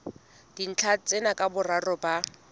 dintlha tsena ka boraro ba